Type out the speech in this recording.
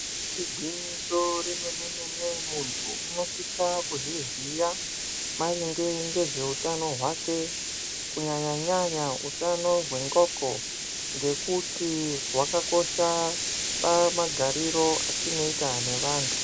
Igwinyiso remene mene muntu unosisa kuzviziva maringe ngezvehutano hwake kunyanyanyanya hutano hwendxondo ngekuti hwakakosha pamagariro atinoita nevantu.